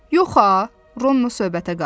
Yox ha, Ronno söhbətə qarışdı.